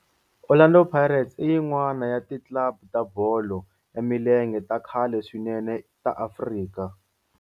Orlando Pirates i yin'wana ya ti club ta bolo ya milenge ta khale swinene ta Afrika.